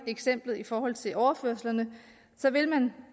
eksemplet i forhold til overførslerne så vil